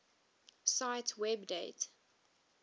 cite web date